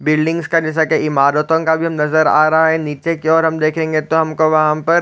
buildings का जैसा की इमारतों का भी नज़र आ रहा है निचे की और हम देखेंगे तो हमको वहा पर--